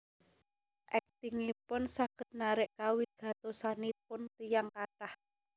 Aktingipun saged narik kawigatosanipun tiyang kathah